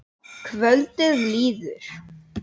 Kvöldið líður.